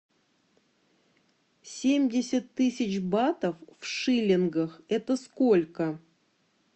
семьдесят тысяч батов в шиллингах это сколько